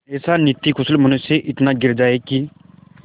ऐसा नीतिकुशल मनुष्य इतना गिर जाए कि